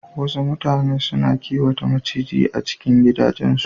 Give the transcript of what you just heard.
Wasu mutane suna kiwata maciji a cikin gidajen su